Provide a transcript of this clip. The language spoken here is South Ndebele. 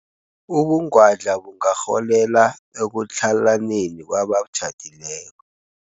Ubungwadla bungarholela ekutlhalaneni kwabatjhadileko.